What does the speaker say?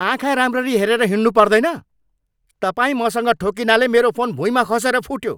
आँखा राम्ररी हेरेर हिँड्नुपर्दैन? तपाईँ मसँग ठोक्किनाले मेरो फोन भुइँमा खसेर फुट्यो।